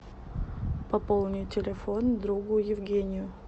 пополни телефон другу евгению